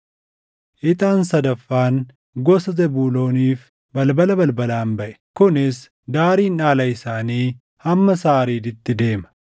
Ixaan sadaffaan gosa Zebuulooniif balbala balbalaan baʼe; kunis: Daariin dhaala isaanii hamma Saariiditti deema.